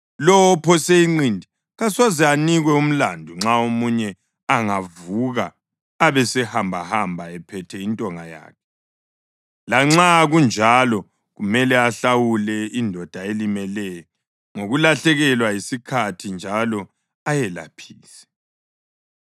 lowo ophose inqindi kasoze anikwe umlandu nxa omunye angavuka abesehambahamba ephethe intonga yakhe; lanxa kunjalo kumele ahlawule indoda elimeleyo ngokulahlekelwa yisikhathi njalo ayelaphise.